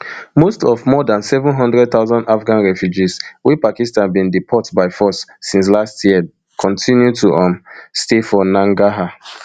most of more dan seven hundred thousand afghan refugees wey pakistan bin deport by force since late last year kontinu to um stay for nangarhar